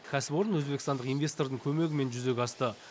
кәсіпорын өзбекстандық инвестордың көмегімен жүзеге асты